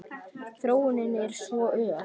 Þróunin er svo ör.